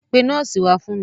Pe nọ́ọ̀sì wá fún mi.